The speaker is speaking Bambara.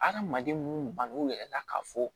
Adamaden mun bann'u yɛrɛ la k'a fɔ